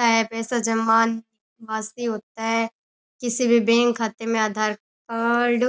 पैसे जमा पास भी होता है किसी भी बैंक खाते में आधार कार्ड